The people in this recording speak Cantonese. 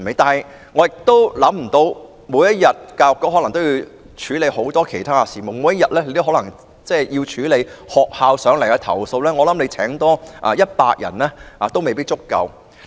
但是，教育局每天要處理很多其他事務，如果還要處理來自學校的投訴，可能多聘請100人也未必能夠應付。